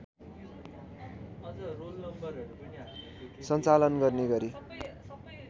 सञ्चालन गर्ने गरी